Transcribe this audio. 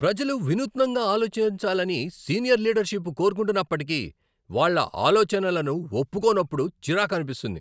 ప్రజలు వినూత్నంగా ఆలోచించాలని సీనియర్ లీడర్షిప్ కోరుకుంటున్నప్పటికీ, వాళ్ళ ఆలోచనలను ఒప్పుకోనప్పుడు చిరాకనిపిస్తుంది.